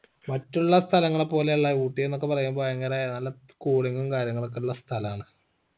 മറ്റുള്ള സ്ഥലങ്ങളെയൊക്കെ ഊട്ടീന്നൊക്കെ പറയുമ്പോ അങ്ങനെ നല്ല cooling ഉം കാര്യങ്ങളൊക്കെ ഉള്ള സ്ഥലാണ്